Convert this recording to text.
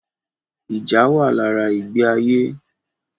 Ìjà wà lára ìgbé ayé